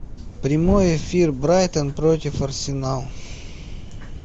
прямой эфир брайтон против арсенал